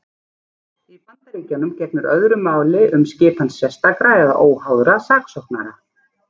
Í Bandaríkjunum gegnir öðru máli um skipan sérstakra eða óháðra saksóknara.